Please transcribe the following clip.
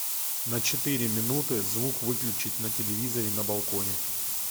на четыре минуты звук выключить на телевизоре на балконе